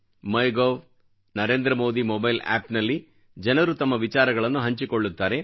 ಮೈ ಗೌ Narendra Modi mobile ಆಪ್ನಲ್ಲಿ ಜನರು ತಮ್ಮ ವಿಚಾರಗಳನ್ನು ಹಂಚಿಕೊಳ್ಳುತ್ತಾರೆ